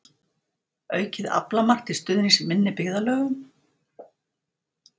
Aukið aflamark til stuðnings minni byggðarlögum